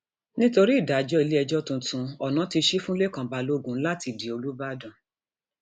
nítorí ìdájọ iléẹjọ tuntun um ọnà ti ṣì fún lẹkan balógun láti um di olùbàdàn